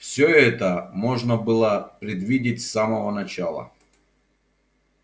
всё это можно было предвидеть с самого начала